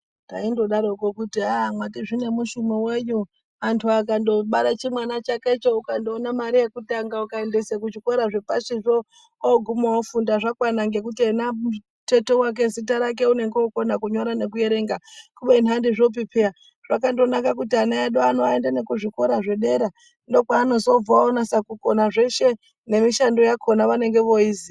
Taindodaroko kuti ah mati zvine mushumo wenyi antu akangobare chimwana chakecho ukandoona mari yekutanga ukaendese kuzvikora zvepashi zvo oguma ofunda zvakwana ngekuti ena tete wake zita rake unenge okona kunyora nekuerenga kubeni handizvopi peya zvakandonaka kuti ana edu anoende nekuzvikora zvedera ndokwaanozobva onase kukona zveshe nemishando yakona vanenge voiziya.